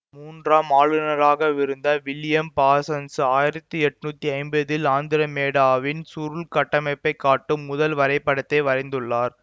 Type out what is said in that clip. மூன்றாம் ஆளுநராகவிருந்த William Parsons ஆயிரத்தி எட்ணூத்தி ஐம்பதில் ஆந்திரமேடாவின் சுருள்கட்டமைப்பைக் காட்டும் முதல் வரைபடத்தை வரைந்துள்ளார்